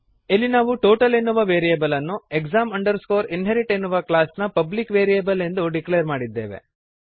ಇಲ್ಲಿ ನಾವು ಟೋಟಲ್ ಎನ್ನುವ ವೇರಿಯಬಲ್ ಅನ್ನು exam inherit ಎನ್ನುವ ಕ್ಲಾಸ್ನ ಪಬ್ಲಿಕ್ ವೇರಿಯಬಲ್ ಎಂದು ಡಿಕ್ಲೇರ್ ಮಾಡಿದ್ದೇವೆ